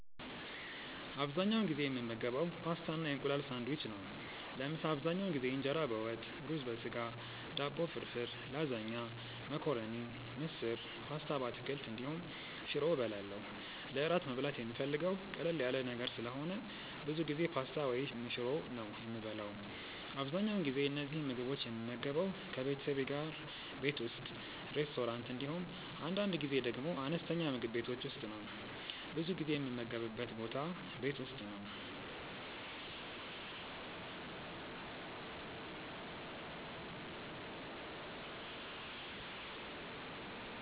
አብዛኛውን ጊዜ የምመገበው ፓስታ እና የእንቁላል ሳንድዊች ነው። ለምሳ አብዛኛውን ጊዜ እንጀራ በወጥ፣ ሩዝ በስጋ፣ ዳቦ ፍርፍር፣ ላዛኛ፣ መኮረኒ፣ ምስር፣ ፓስታ በአትክልት እንዲሁም ሽሮ እበላለሁ። ለእራት መብላት የምፈልገው ቀለል ያለ ነገር ስለሆነ ብዙ ጊዜ ፓስታ ወይም ሽሮ ነው የምበላው። አብዛኛውን ጊዜ እነዚህን ምግቦች የምመገበው ከቤተሰቤ ጋር ቤት ውስጥ፣ ሬስቶራንት እንዲሁም አንዳንድ ጊዜ ደግሞ አነስተኛ ምግብ ቤቶች ውስጥ ነው። ብዙ ጊዜ የምመገብበት ቦታ ቤት ውስጥ ነው።